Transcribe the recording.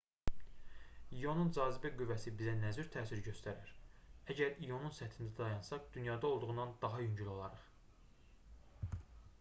i̇onun cazibə qüvvəsi bizə nə cür təsir göstərər? əgər i̇onun səthində dayansaq dünyada olduğundan daha yüngül olarıq